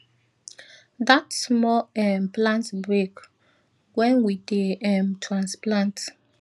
dat small um plant break wen we dey um transplant